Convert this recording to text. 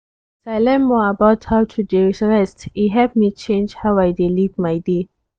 as i learn more about how to dey rest e help me change how i dey live my day.